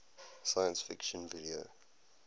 science fiction video